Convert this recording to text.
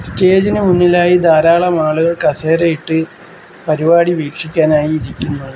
സ്റ്റേജിന് മുന്നിലായി ധാരാളം ആളുകൾ കസേരയിട്ട് പരിപാടി വീക്ഷിക്കാനായി ഇരിക്കുന്ന--